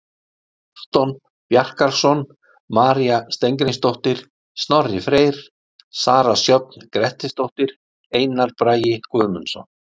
Anton Bjarkarson, María Steingrímsdóttir, Snorri Freyr, Sara Sjöfn Grettisdóttir, Einar Bragi Guðmundsson.